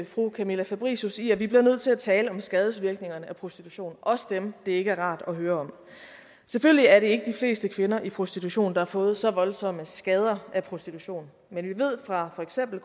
fru camilla fabricius i at vi bliver nødt til at tale om skadesvirkningerne af prostitution også dem det ikke er rart at høre om selvfølgelig er det ikke de fleste kvinder i prostitution der har fået så voldsomme skader af prostitution men vi ved fra for eksempel